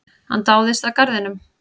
Hann dáðist að garðinum.